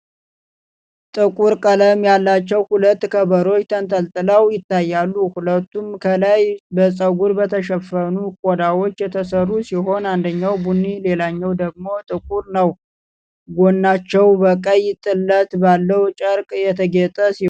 ጥቁር ቀለም ያላቸው ሁለት ከበሮዎች ተንጠልጥለው ይታያሉ። ሁለቱም ከላይ በፀጉር በተሸፈኑ ቆዳዎች የተሰሩ ሲሆኑ አንደኛው ቡኒ ሌላኛው ደግሞ ጥቁር ነው። ጎናቸው በቀይ ጥለት ባለው ጨርቅ የተጌጠ ሲሆን፣ አንዱ ገመድ ለመሸከሚያ አለው።